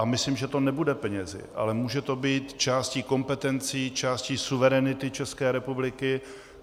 A myslím, že to nebude penězi, ale může to být částí kompetencí, částí suverenity České republiky.